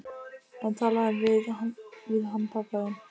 En talaðu við hann pabba þinn.